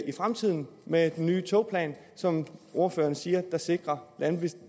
i fremtiden med den nye togplan som ordføreren siger sikrer